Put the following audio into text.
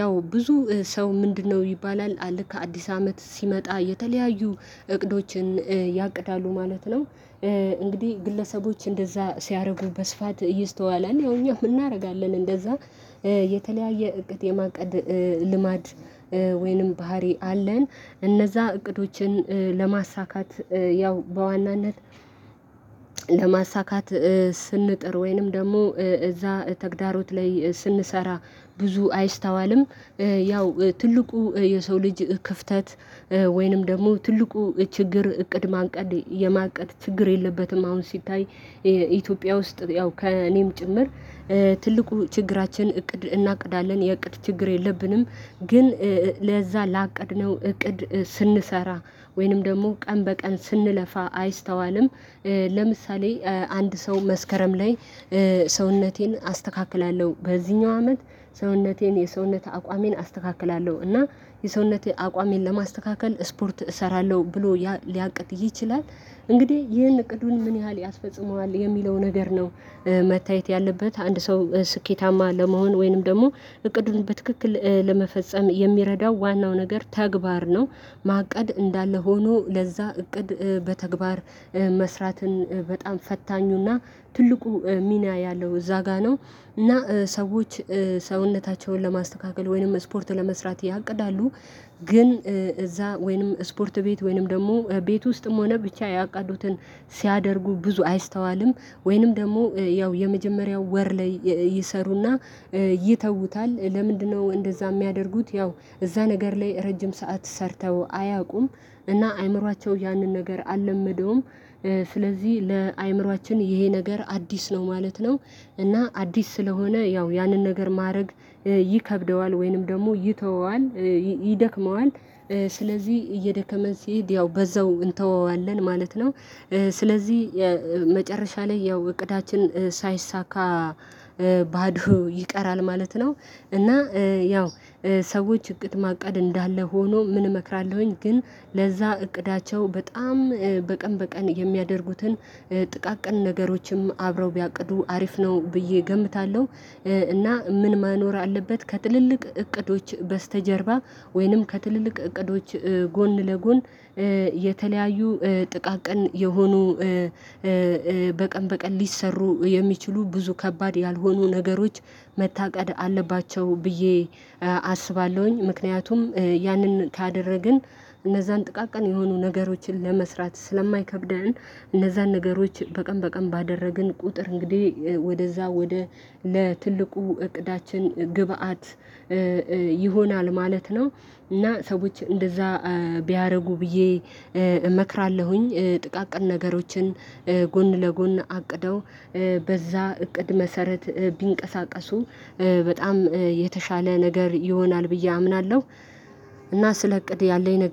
ያው ብዙ ሰው ምንድነው ይባላል አለ ከአዲስ አመት ሲመጣ የተለያዩ እቅዶችን ያቅዳሉ ማለት ነው። እንግዲህ ግለሰቦች እንደዛ ሲያደርጉ በስፋት ይስተዋላል ያው እኛ እንምናደርጋለን እንደዛ የተለያየ እቅድ የማቀድ ልማድ ወይንም ባህሪ አለን። እነዛ እቅዶችን ለማሳካት ያው በዋናነት ለማሳካት ስንጥር ወይንም ደግሞ እዛ ተግዳሮት ላይ ስንሰራ ብዙ አይስተዋልም። ያው ትልቁ የሰው ልጅ ክፍተት ወይንም ደግሞ ትልቁ ችግር እቅድ ማንቀ የማንቀድ ችግር የለበትም አሁን ሲታይ ኢትዮጵያ ውስጥ ያው ከእኔም ጭምር ትልቁ ችግራችን እቅድ እናቅዳለን የእቅድ ችግር የለብንም። ግን ለዛ ላቀድነው እቅድ ስንሰራ ወይንም ደግሞ ቀን በቀን ስንለፋ አይስተዋልም። ለምሳሌ አንድ ሰው መስከረም ላይ ሰውነቴን አስተካክላለሁ በዚህኛው አመት ሰውነቴን የሰውነት አቋሜን አስተካክላለሁ እና የሰውነቴ አቋሜን ለማስተካከል ስፖርት እሰራለሁ ብሎ ሊያቅድ ይችላል። እንግዲህ ይህን እቅዱን ምን ያህል ያስፈጽመዋል የሚለው ነገር ነው መታየት ያለበት አንድ ሰው ስኬታማ ለመሆን ወይንም ደግሞ እቅዱን በትክክል ለመፈጸም የሚረዳው ዋናው ነገር ተግባር ነው። ማቀድ እንዳለ ሆኖ ለዛ እቅድ በተግባር መስራትን በጣም ፈታኙና ትልቁ ሚና ያለው እዛ ጋር ነው። እና ሰዎች ሰውነታቸውን ለማስተካከል ወይንም ስፖርት ለመስራት ያቅዳሉ ግን እዛ ወይንም ስፖርት ቤት ወይንም ደግሞ ቤት ውስጥም ሆነ ብቻ ያቃዱትን ሲያደርጉ ብዙ አይስተዋልም። ወይንም ደግሞ ያው የመጀመሪያው ወር ላይ ይሰሩና ይተውታል ለምንድነው እንደዛ የሚያደርጉት ያው እዛ ነገር ላይ ረጅም ሰዓት ሰርተው አያውቁም? እና አእምሮአቸው ያንን ነገር አልለመደውም። ስለዚህ ለአእምሮአችን ይሄ ነገር አዲስ ነው ማለት ነው። እና አዲስ ስለሆነ ያው ያንን ነገር ማድረግ ይከብደዋል ወይንም ደግሞ ይተወዋል ይደክመዋል። ስለዚህ እየደከመን ሲሄድ ያው በዛው እንተወዋለን ማለት ነው። ስለዚህ መጨረሻ ላይ ያው እቅዳችን ሳይሳካ ባዶ ይቀራል ማለት ነው። እና ያው ሰዎች እቅድ ማቀድ እንዳለ ሆኖ ምን እመክራለሁኝ ግን ለዛ እቅዳቸው በጣም በቀን በቀን የሚያደርጉትን ጥቃቅን ነገሮችም አብረው ቢያቅዱ አሪፍ ነው ብዬ እገምታለሁ። እና ምን ማኖር አለበት ከጥልልቅ እቅዶች በስተጀርባ ወይንም ከትልልቅ እቅዶች ጎን ለጎን የተለያዩ ጥቃቅን የሆኑ በቀን በቀን ሊሰሩ የሚችሉ ብዙ ከባድ ያልሆኑ ነገሮች መታቀድ አለባቸው ብዬ አስባለሁኝ ምክንያቱም ያንን ካደረግን እነዛን ጥቃቅን የሆኑ ነገሮችን ለመስራት ስለማይከብደን እነዛን ነገሮች በቀን በቀን ባደረግን ቁጥር እንግዲህ ወደዛ ወደ ለትልቁ እቅዳችን ግብአት ይሆናል ማለት ነው። እና ሰዎች እንደዛ ቢያደርጉ ብዬ እመክራለሁኝ ጥቃቅን ነገሮችን ጎን ለጎን አቅደው በዛ እቅድ መሰረት ቢንቀሳቀሱ በጣም የተሻለ ነገር ይሆናል ብዬ አምናለሁ። እና ስለ እቅድ ያለኝ ነገ